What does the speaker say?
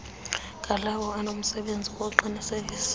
ngalawo anomsebenzi wokuqinisekisa